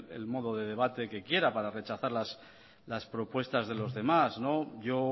el modo de debate que quiera para rechazar las propuestas de los demás yo